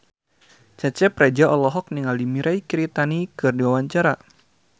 Cecep Reza olohok ningali Mirei Kiritani keur diwawancara